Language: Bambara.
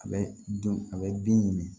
A bɛ dun a bɛ bin ɲini